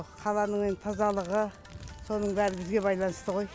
қаланың енді тазалығы соның бәрі бізге байланысты ғой